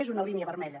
és una línia vermella